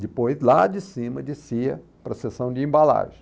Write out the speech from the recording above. Depois, lá de cima, descia para a seção de embalagem.